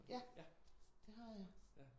Ja det har jeg